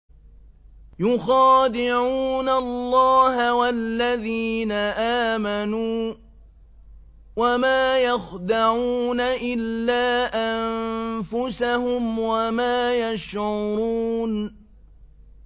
يُخَادِعُونَ اللَّهَ وَالَّذِينَ آمَنُوا وَمَا يَخْدَعُونَ إِلَّا أَنفُسَهُمْ وَمَا يَشْعُرُونَ